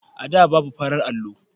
A da, babu farar allo.